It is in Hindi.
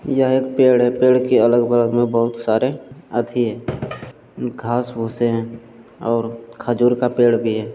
यह एक पेड़ है पेड़ के अलग बलग में बहोत सारे हाथी है घास भूसे हैं और खजूर का पेड़ भी है ।